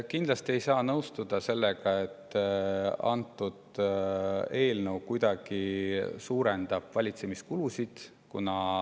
Kindlasti ei saa nõustuda sellega, et antud eelnõu kuidagi suurendab valitsemiskulusid.